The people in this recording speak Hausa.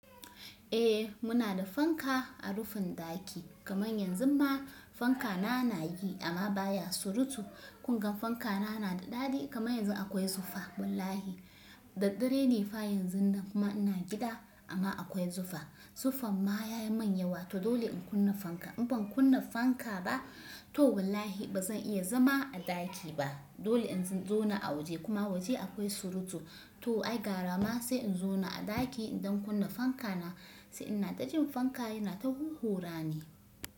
Eh muna da fanka a rufin ɗaki, kamar yanzun ma fanka na na yi amma baya surutu. Kun ga fanka na na da daɗi kamar yanzu akwai zufa wallahi. Da dare ne fa yanzu na kuma ina gida amma akwai zufa. Zuffan ma ya yi mun yawa to dole in kunna fanka. In ban kunna fanka ba to wallahi ba zan iya zama a ɗaki ba. Dole in zauna kuma waje akwai surutu. To ai gara ma sai in zona a ɗaki idan kunna fanka na sai ina ta jin fanka yana ta huhurani.